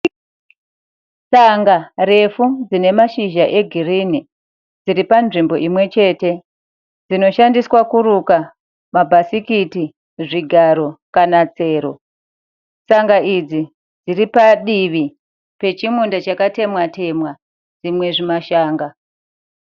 Tsanga refu dzine mashizha egirini, dziri panzvimbo imwechete dzinoshandiswa kuruka mabhasikiti, zvigaro kana tsero. Tsanga idzi dziri padivi pechimunda chakatemwa- temwa zvimwe zvimashanga.